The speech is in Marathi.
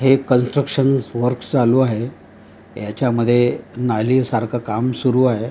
हे कन्स्ट्रक्शन वर्क चालू आहे याच्यामध्ये नाली सारखं काम सुरू आहे.